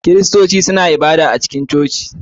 Kiristoci suna ibada a cikin coci.